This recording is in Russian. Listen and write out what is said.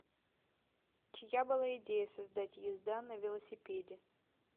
чья была идея создать езда на велосипеде